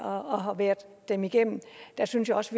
og har været dem igennem synes jeg også